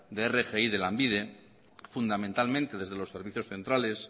de rgi de lanbide fundamentalmente desde los servicios centrales